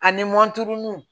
Ani mɔnturuni